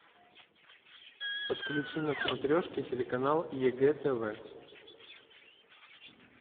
подключи на смотрешке телеканал егэ тв